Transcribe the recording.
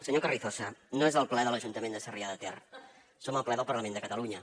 senyor carrizosa no és al ple de l’ajuntament de sarrià de ter som al ple del parlament de catalunya